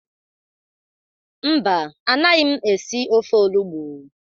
Mba, anaghị m esi ofe olugbụ